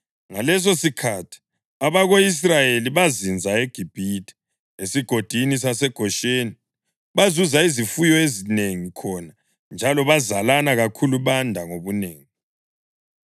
Ngalesosikhathi abako-Israyeli bazinza eGibhithe esigodini saseGosheni. Bazuza izifuyo ezinengi khona njalo bazalana kakhulu banda ngobunengi.